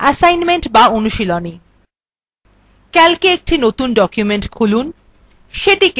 assignment বা অনুশীলনী